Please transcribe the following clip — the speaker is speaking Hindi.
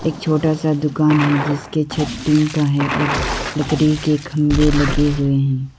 एक छोटा सा दुकान है जिसके छत टीन का है और लकड़ी के खंभे लगे हुए हैं।